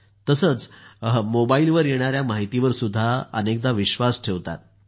तसंच मोबाईलवर येणाऱ्या माहितीवर विश्वास ठेवतात